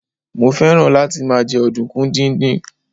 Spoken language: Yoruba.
mo fẹràn láti ma je ọdunkun didin